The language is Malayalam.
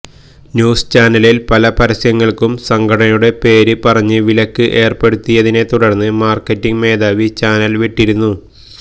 ന്യൂസ് ചാനലിൽ പല പരസ്യങ്ങൾക്കും സംഘടനയുടെ പേര് പറഞ്ഞ് വിലക്ക് ഏർപ്പെടുത്തിയതിനെതുടർന്ന് മാർക്കറ്റിങ്ങ് മേധാവി ചാനൽ വിട്ടിരുന്നു